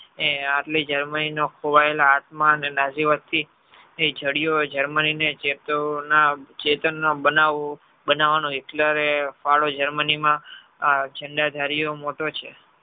એ આટલી germany ખોવાયેલા આત્મન અને નાશીવાદ થી એ જાડિયો germany ચેતન ના બનાવનો Hitler રે ફાળો germany માં મોટો છે.